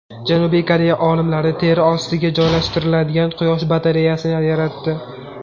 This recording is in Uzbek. Janubiy Koreya olimlari teri ostiga joylashtiriladigan quyosh batareyasini yaratdi.